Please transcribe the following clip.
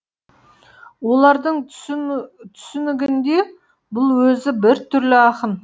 олардың түсінігінде бұл өзі біртүрлі ақын